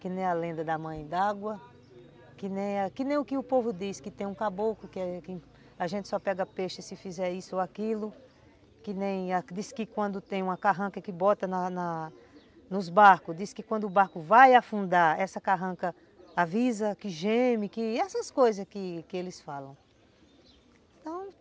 que nem a lenda da mãe d'água, que nem o que o povo diz, que tem um caboclo, que a gente só pega peixe se fizer isso ou aquilo, que nem diz que quando tem uma carranca que bota na na nos barcos, diz que quando o barco vai afundar, essa carranca avisa, que geme, que que, essas coisas que que eles falam, então